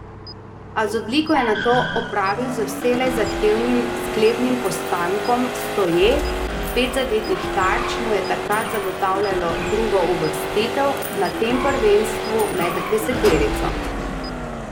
A z odliko je nato opravil z vselej zahtevnim sklepnim postankom stoje, pet zadetih tarč mu je takrat zagotavljalo drugo uvrstitev na tem prvenstvu med deseterico.